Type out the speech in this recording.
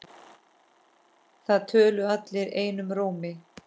Það töluðu allir einum rómi.